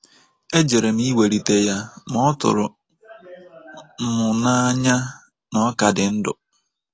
E jere m iwelite ya ma ọ tụrụ m n'anya na ọ ka dị ndụ.